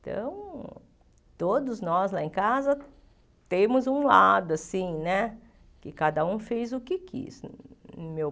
Então, todos nós lá em casa temos um lado assim né, que cada um fez o que quis o meu.